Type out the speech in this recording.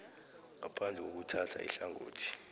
ngaphandle kokuthatha ihlangothi